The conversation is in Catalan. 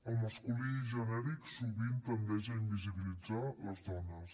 el masculí genèric sovint tendeix a invisibilitzar les dones